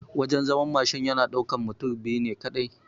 Wajan zaman Mashin yana ɗaukan mutum biyu ne kaɗai